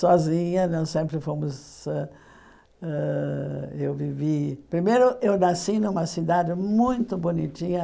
sozinha, não sempre fomos ãh ãh... Eu vivi... Primeiro, eu nasci numa cidade muito bonitinha.